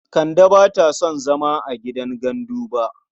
Kande ba ta son zama a gidan gandu ba.